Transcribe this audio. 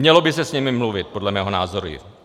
Mělo by se s nimi mluvit, podle mého názoru.